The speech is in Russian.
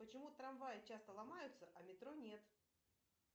почему трамваи часто ломаются а метро нет